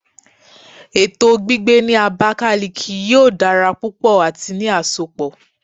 Eto gbigbe ni Abakiliki yoo dara pupọ ati ni asopọ